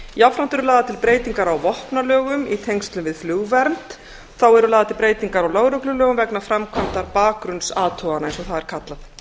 jafnframt eru lagðar til breytingar á vopnalögum í tengslum við flugvernd þá eru lagðar til breytingar á lögreglulögum vegna framkvæmdar bakgrunnsathugana eins og það er kallað